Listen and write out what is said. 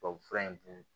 Tubabu fura in dun